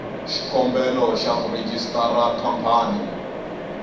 xikombelo xa ku rejistara khampani